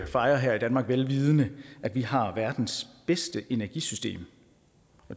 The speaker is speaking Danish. fejre her i danmark velvidende at vi har verdens bedste energisystem